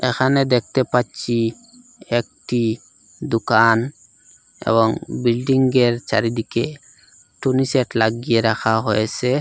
এখানে দেখতে পাচ্চি একটি দুকান এবং বিল্ডিংগের চারিদিকে টুনি সেট লাগিয়ে রাখা হয়েসে।